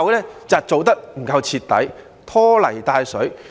是因為做得不夠徹底，拖泥帶水。